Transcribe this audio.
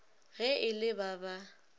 ge e le ba ba